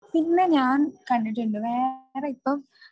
പിന്നെ ഞാൻ കണ്ടിട്ടുണ്ട് വേറെ ഇപ്പം